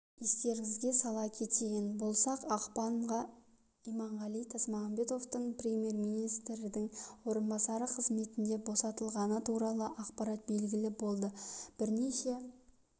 естеріңізге сала кететін болсақ ақпанда иманғали тасмағамбетовтың премьер-министрдің орынбасары қызметінен босатылғаны туралы ақпарат белгілі болды бірнеше